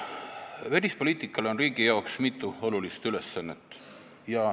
Välispoliitikal on riigi jaoks mitu olulist ülesannet.